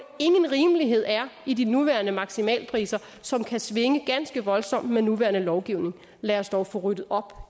ingen rimelighed er i de nuværende maksimalpriser som kan svinge ganske voldsomt med den nuværende lovgivning lad os dog få ryddet op